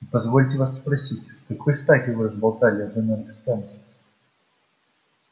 и позвольте вас просить с какой стати вы разболтали об энергостанции